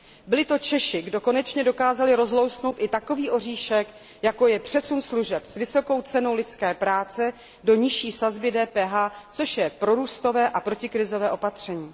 Byli to Češi, kdo konečně dokázal rozlousknout i takový oříšek, jako je přesun služeb s vysokou cenou lidské práce do nižší sazby DPH, což je prorůstové a protikrizové opatření.